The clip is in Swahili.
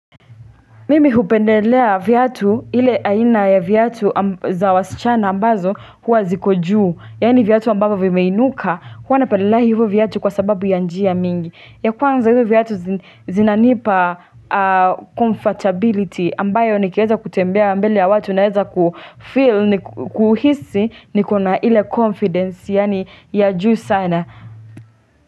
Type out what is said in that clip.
Mimi hu pendelea viatu ile aina ya viatu za wasichana ambazo huwa ziko juu Yani viatu ambavyo vimeinuka huwa napendelea hivyo vyatu kwa sababu ya njia mingi ya kwanza hivyo vyatu zinanipa comfortability ambayo nikiaeza kutembea mbele ya watu naeza kuhisi niko na ile confidence ya juu sana.